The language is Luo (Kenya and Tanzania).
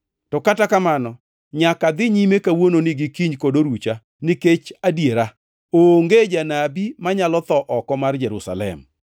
To kata kamano nyaka adhi nyime kawuononi, gi kiny kod orucha nikech adiera, onge janabi manyalo tho oko mar Jerusalem!